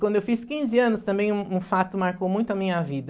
Quando eu fiz quinze anos, também um um fato marcou muito a minha vida.